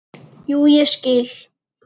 Jú, ég skil.